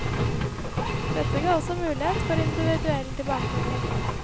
Dette ga også mulighet for individuell tilbakemelding.